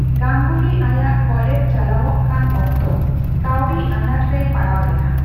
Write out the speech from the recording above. ᱜᱟᱝᱜᱩᱞᱤ ᱟᱭᱟᱜ ᱠᱚᱞᱮᱡᱽ ᱪᱟᱞᱟᱣᱚᱜ ᱠᱟᱱ ᱚᱠᱛᱚ ᱠᱟᱹᱣᱰᱤ ᱟᱱᱟᱴ ᱨᱮᱭ ᱯᱟᱲᱟᱣ ᱞᱮᱱᱟ ᱾